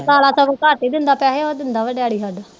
ਕਾਲਾ ਸਗੋਂ ਕੱਟ ਹੀ ਦਿੰਦਾ ਪੈਸੇ ਉਹ ਦਿੰਦਾ ਵਾ ਡੈਡੀ ਸਾਡਾ